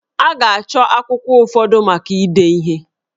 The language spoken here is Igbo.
A ga-achọ akwụkwọ ụfọdụ maka ide ihe